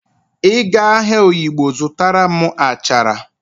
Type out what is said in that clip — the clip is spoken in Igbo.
Ị gaa ahịa oyigbo zụtara m achara